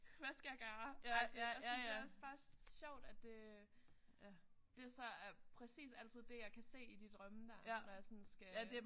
Hvad skal jeg gøre agtigt og sådan. Det er også bare sjovt at det det så er præcis altid det jeg kan se i de drømme der når jeg sådan skal